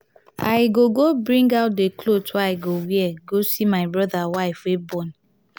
i go go bring out the cloth wey i go wear go see my broda wife wey born.